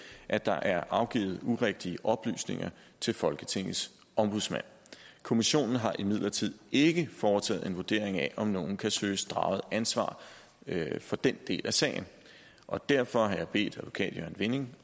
at der er afgivet urigtige oplysninger til folketingets ombudsmand kommissionen har imidlertid ikke foretaget en vurdering af om nogen kan søges draget til ansvar for den del af sagen og derfor har jeg bedt advokat jørgen vinding